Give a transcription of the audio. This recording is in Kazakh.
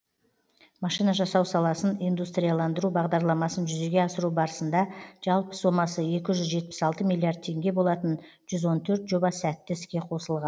машина жасау саласын индустрияландыру бағдарламасын жүзеге асыру барысында жалпы сомасы екі жүз жетпіс алты миллиард теңге болатын жүз он төрт жоба сәтті іске қосылған